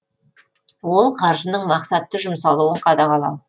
ол қаржының мақсатты жұмсалуын қадағалау